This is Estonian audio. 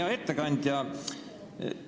Hea ettekandja!